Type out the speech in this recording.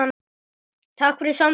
Takk fyrir samtöl okkar.